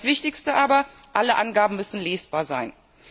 Das Wichtigste aber Alle Angaben müssen lesbar sein.